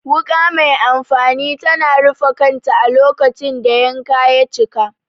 Wuka mai amfani tana rufe kanta a lokacin da yanka ya cika.